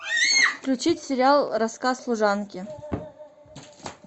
включить сериал рассказ служанки